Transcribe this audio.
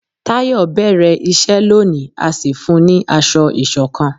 Tayo bẹrẹ iṣẹ lóni a sì fún ní asọ isokan